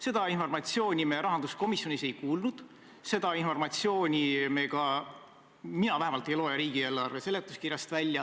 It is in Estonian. Seda informatsiooni me rahanduskomisjonis ei kuulnud, seda informatsiooni me ka – mina vähemalt – ei loe välja riigieelarve seletuskirjast.